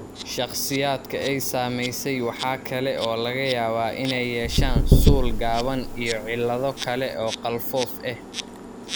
Shakhsiyaadka ay saamaysay waxa kale oo laga yaabaa inay yeeshaan suul gaaban iyo cillado kale oo qalfoof ah.